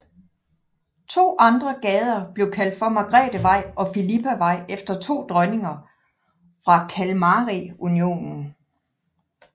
To andre gader blev kaldt for Margrethevej og Fillipavej efter to dronninger fra Kalmarunionen